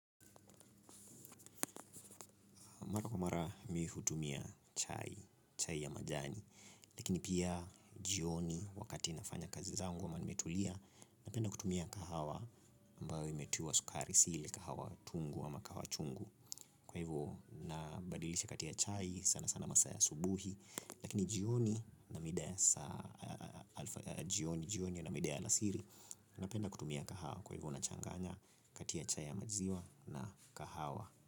Mara kwa mara mimi hutumia chai, chai ya majani. Lakini pia jioni wakati nafanya kazi zangu wa ama nimetulia, napenda kutumia kahawa ambayo imetiwa sukari si ile, kahawa tungu ama kahawa chungu. Kwa hivyo nabadilisha kati ya chai sana sana masaa ya asubuhi, lakini jioni na mida ya alasiri, napenda kutumia kahawa kwa hivyo nachanganya kati ya chai ya maziwa na kahawa.